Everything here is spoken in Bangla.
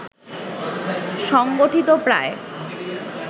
সংগঠিত প্রায়